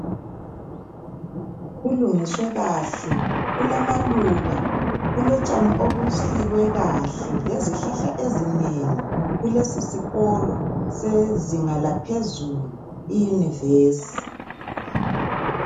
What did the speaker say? Kulungiswe kahle, kulamaluba, kulotshani obusikwe kahle lezihlahla ezinengi kulesisikolo sezinga laphezulu iyunivesi.